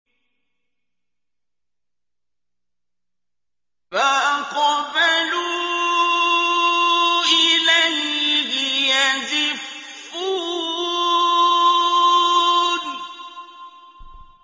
فَأَقْبَلُوا إِلَيْهِ يَزِفُّونَ